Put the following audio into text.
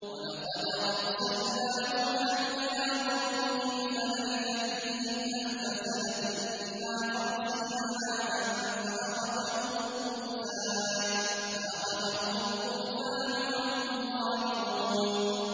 وَلَقَدْ أَرْسَلْنَا نُوحًا إِلَىٰ قَوْمِهِ فَلَبِثَ فِيهِمْ أَلْفَ سَنَةٍ إِلَّا خَمْسِينَ عَامًا فَأَخَذَهُمُ الطُّوفَانُ وَهُمْ ظَالِمُونَ